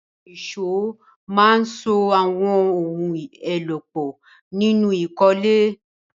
Àwọn ìṣó máa ń so àwọn ohun èlò pọ̀ nínú ìkọ́lé